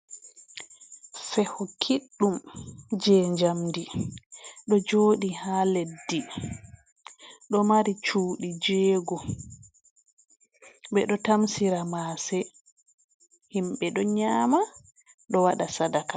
Feho kiɗɗum, je jamɗi ɗo joɗi ha leɗɗi, ɗo mari cuɗi jego. Be ɗo tamsira mase, himbe ɗo nyama ɗo waɗa saɗaqa.